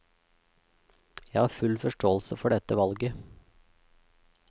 Jeg har full forståelse for dette valget.